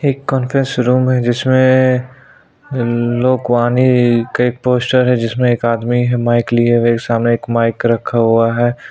एक conference room है जिसमे एक लोकवानी के पोस्टर है जिसमे एक आदमी हैं माइक लिए हुए सामने एक माइक रखा हुआ है।